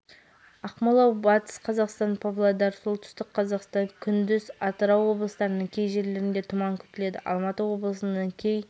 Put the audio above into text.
жамбыл облысының жекелеген жерлерінде тұман көктайғақ күтіледі күндіз жел артады оңтүстік қазақстан облысының кей аумақтарына тұман